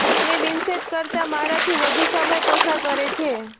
તે વિન્સેન્ટ કરતાં મારાથી વધુ સમય પસાર કરે છે